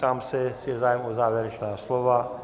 Ptám se, jestli je zájem o závěrečná slova.